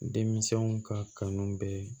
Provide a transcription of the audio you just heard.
Denmisɛnw ka kanu bɛ